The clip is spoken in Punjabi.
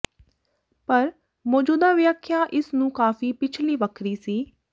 ਪਰ ਮੌਜੂਦਾ ਵਿਆਖਿਆ ਇਸ ਨੂੰ ਕਾਫ਼ੀ ਪਿਛਲੀ ਵੱਖਰੀ ਸੀ